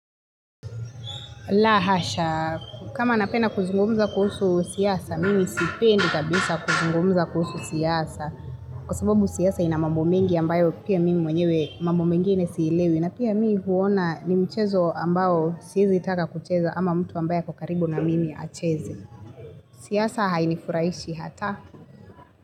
La, hasha. Kama napenda kuzungumza kuhusu siasa, mimi sipendi kabisa kuzungumza kuhusu siasa. Kwa sababu siasa ina mambo mengi ambayo pia mimi mwenyewe mambo mengine siielewi. Na pia mimi huona ni mchezo ambayo siwezi taka kucheza ama mtu ambayo ako karibu na mimi acheze. Siasa hainifuraishi hata.